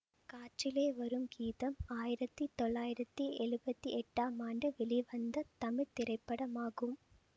காற்றினிலே வரும் கீதம் ஆயிரத்தி தொள்ளாயிரத்தி எழுவத்தி எட்டாம் ஆண்டு வெளிவந்த தமிழ் திரைப்படமாகும்